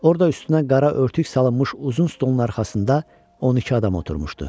Orada üstünə qara örtük salınmış uzun stolun arxasında 12 adam oturmuşdu.